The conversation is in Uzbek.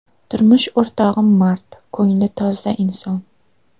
Turmush o‘rtog‘im mard, ko‘ngli toza inson.